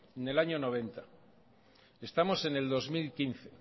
en el año noventa estamos en el dos mil quince